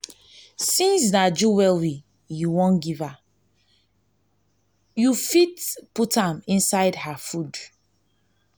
since na jewelry you wan give her you her you go fit put am inside her food